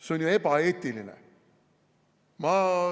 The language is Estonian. See on ebaeetiline!